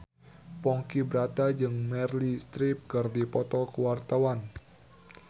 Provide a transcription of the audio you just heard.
Ponky Brata jeung Meryl Streep keur dipoto ku wartawan